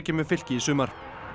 með Fylki í sumar